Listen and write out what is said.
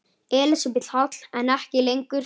Elísabet Hall: En ekki lengur?